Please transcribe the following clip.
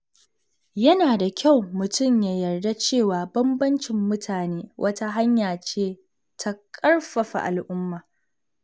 Yana da kyau mutum ya yarda da cewa bambancin mutane wata hanya ce ta ƙarfafa al’umma.